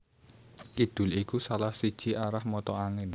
Kidul iku salah siji arah mata angin